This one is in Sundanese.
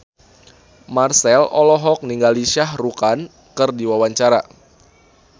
Marchell olohok ningali Shah Rukh Khan keur diwawancara